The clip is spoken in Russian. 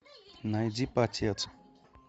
найди потец